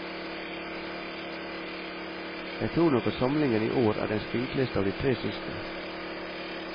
Jeg tror nok at samlingen i år er den spinkleste av de tre siste.